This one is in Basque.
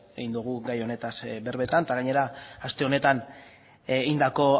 egin dogu gai honetaz berbetan eta gainera aste honetan egindako